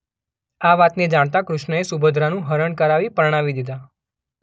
આ વાતને જાણતા કૃષ્ણએ સુભદ્રાનું હરણ કરાવી પરણાવી દીધાં.